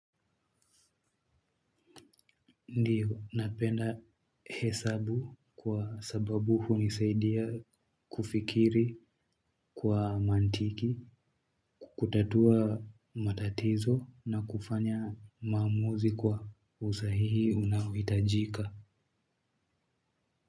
Ndiyo, napenda hesabu kwa sababu hunisaidia kufikiri kwa mantiki, kutatua matatizo na kufanya maamuzi kwa usahihi unaohitajika.